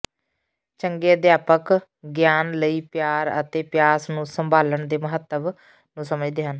ਚੰਗੇ ਅਧਿਆਪਕ ਗਿਆਨ ਲਈ ਪਿਆਰ ਅਤੇ ਪਿਆਸ ਨੂੰ ਸੰਭਾਲਣ ਦੇ ਮਹੱਤਵ ਨੂੰ ਸਮਝਦੇ ਹਨ